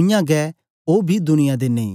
उयांगै ओ बी दुनिया दे नेई